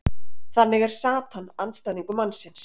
þannig er satan andstæðingur mannsins